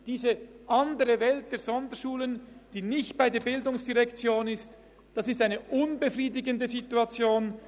Diese andere Welt der Sonderschulen, die nicht bei der ERZ angesiedelt sind, ist eine unbefriedigende Situation.